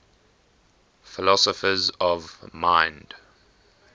philosophers of mind